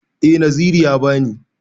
Eh Naziru ya ba ni.